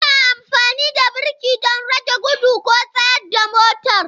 Ana amfani da birki don rage gudu ko tsayar da motar.